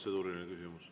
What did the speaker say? Protseduuriline küsimus.